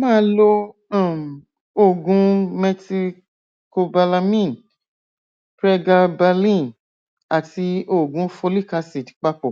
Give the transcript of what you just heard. máa lo um oògùn methylcobalamin pregabalin àti oògùn folic acid papọ